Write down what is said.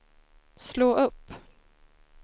slå upp